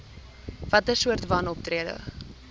watter soorte wanoptrede